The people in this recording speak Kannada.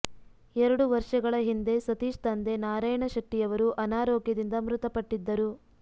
ಎರಡು ವರ್ಷಗಳ ಹಿಂದೆ ಸತೀಶ ತಂದೆ ನಾರಾಯಣ ಶೆಟ್ಟಿಯವರು ಅನಾರೋಗ್ಯದಿಂದ ಮೃತಪಟ್ಟಿದ್ದರು